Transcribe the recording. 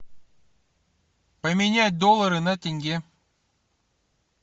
поменять доллары на тенге